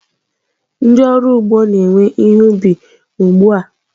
Ndị ọrụ ugbo na-ewe ihe ubi ugbu a.